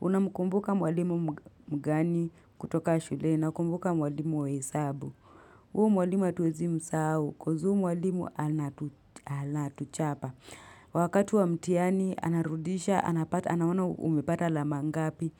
Unamkumbuka mwalimu mgani kutoka shule na kumbuka mwalimu wa hesabu. Huyo mwalimu hatuwezi msahau cause huyo mwalimu anatuchapa. Wakati wa mtihani, anarudisha, anapata, anaona umepata alama ngapi.